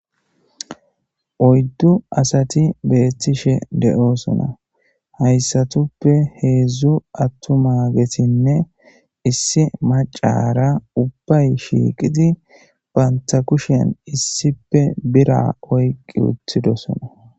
oyddu asati beettishe de7oosona haysatuppe heedzdzu attu maagesinne issi macara ubbay shiiqidi baynta kushen issippe bira oyqi uttidosona